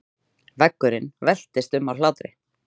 Veggurinn veltist um af hlátri.